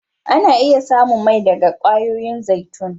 Ana iya samu mai daga kwayoyin zaitun.